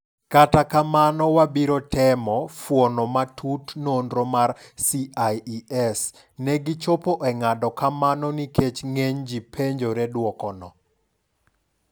Kata kamano wabiro temo fuono matut nonro mar CIES negi chopo e ng'ado kamanonikech ng'eny ji penjore duokono.